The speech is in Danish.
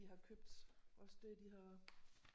De har købt også det de har